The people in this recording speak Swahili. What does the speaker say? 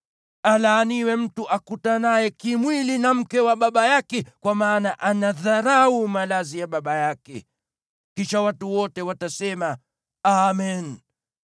“Alaaniwe mtu akutanaye kimwili na mke wa baba yake, kwa maana anadharau malazi ya baba yake.” Kisha watu wote watasema, “Amen!”